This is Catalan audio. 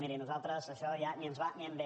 miri a nosaltres això ja ni ens va ni ens ve